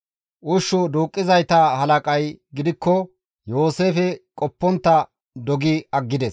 Ushshu duuqqizayta halaqay gidikko Yooseefe qoppontta dogi aggides.